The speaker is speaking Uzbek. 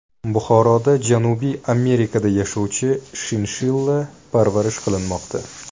Buxoroda Janubiy Amerikada yashovchi shinshilla parvarish qilinmoqda.